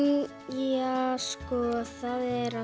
ja sko það er